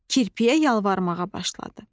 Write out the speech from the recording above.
Kirpiyə yalvarmağa başladı.